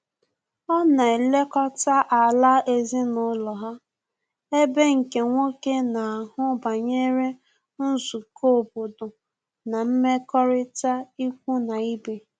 Ọ na elekọta ala ezinụlọ ha, ebe nke nwoke na-ahụ banyere nzukọ obodo na mmekọrịta ikwu na ibe